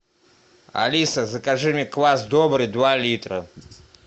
алиса закажи мне квас добрый два литра